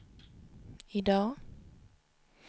idag